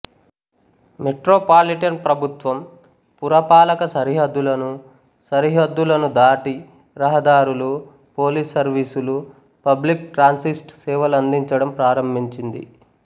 metro పాలిటన్ ప్రభుత్వం పురపాలక సరిహద్దులను సరిహద్దులను దాటి రహదారులు పోలీస్ సర్వీసులు పబ్లిక్ ట్రాంసిస్ట్ సేవలందించడం ప్రారంభించింది